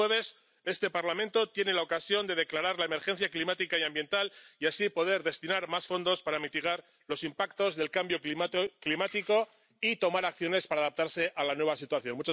Y el jueves este Parlamento tiene la ocasión de declarar la emergencia climática y ambiental y así poder destinar más fondos a mitigar los impactos del cambio climático y tomar medidas para adaptarse a la nueva situación.